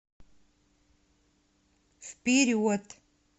вперед